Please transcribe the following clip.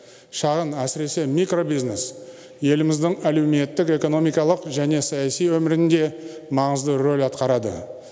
шағын әсіресе микробизнес еліміздің әлеуметтік экономикалық және саяси өмірінде маңызды рөл атқарады